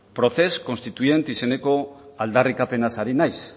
procés constituent izeneko aldarrikapenaz hari naiz